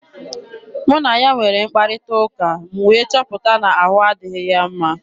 Mụ na ya nwere mkparịta ụka, m wee chọpụta na ahụ adịghị ya mma.